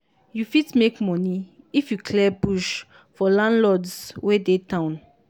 you fit make money if you clear bush for landlords wey dey town.